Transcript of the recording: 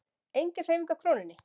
Engin hreyfing á krónunni